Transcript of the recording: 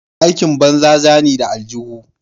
Aikin banza zani da aljuhu.